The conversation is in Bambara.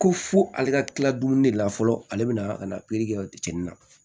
Ko fo ale ka kila dumuni de la fɔlɔ ale bɛna ka na kɛ cɛnni na